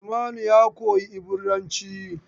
Salmanu ya koyi Ibiranci.